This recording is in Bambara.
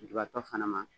Lujuratɔ fana ma